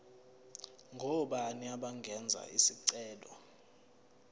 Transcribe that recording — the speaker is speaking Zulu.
ngobani abangenza isicelo